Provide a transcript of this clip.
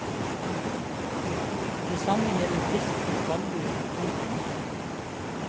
Det samme gjelder fisk og skalldyr. punktum